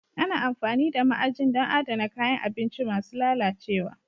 Ana amfani da ma'ajin don adana kayan abinci masu lalacewa